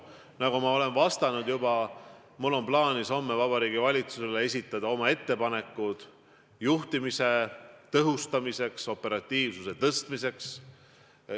Nagu ma olen juba öelnud, mul on plaanis homme Vabariigi Valitsusele esitada oma ettepanekud juhtimise tõhustamiseks, operatiivsuse tõstmiseks.